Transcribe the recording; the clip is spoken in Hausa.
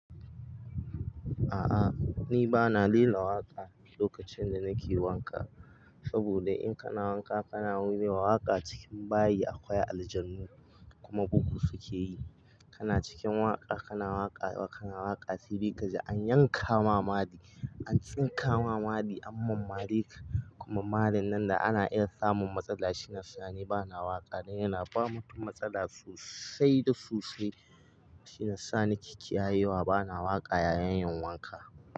A'a ni ba na lila waƙa lokacin da nake wanka saboda in kana wanka kana lela wa waƙa cikin bayi akwai aljanu kuma bugu suke yi. Kana cikin waƙa kana waƙa kana waƙa sede kaji an yanka mamari an tsinka mamari an mammare ka kuma marin nan da ana iya samun matsala shiyasa ni bana waƙa dan yana bamu mutum matsala sosai da sosai shiya sa na ke ki yaye wa bana waƙa yayin yin wanka.